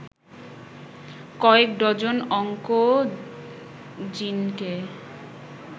কয়েক ডজন অংকোজিনকে